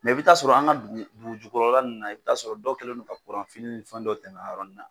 Mɛ i bɛ t'a sɔrɔ an ka dugu dugujukɔrɔ ninnu la i bɛ t'a sɔrɔ dɔ kɛlen no ka kuran ni fɛn dɔ tɛmɛna a yɔrɔnin na.